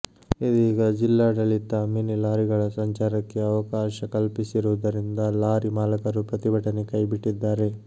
ಇದೀಗ ಜಿಲ್ಲಾಡಳಿತ ಮಿನಿ ಲಾರಿಗಳ ಸಂಚಾರಕ್ಕೆ ಅವಕಾಶ ಕಲ್ಪಿಸಿರುವುದರಿಂದ ಲಾರಿ ಮಾಲಕರು ಪ್ರತಿಭಟನೆ ಕೈ ಬಿಟ್ಟಿದ್ದಾರೆ